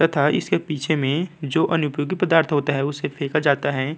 तथा इसके पीछे में जो अनुपयोग्य पदार्थ होते हैं उसे फेका जाता है।